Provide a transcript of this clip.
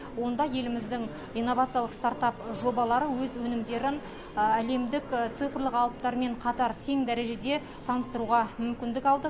онда еліміздің инновациялық стартап жобалары өз өнімдерін әлемдік цифрлық алыптармен қатар тең дәрежеде таныстыруға мүмкіндік алды